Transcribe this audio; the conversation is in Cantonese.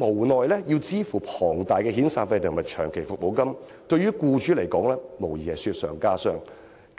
無奈要支付龐大的遣散費及長期服務金，無疑是雪上加霜。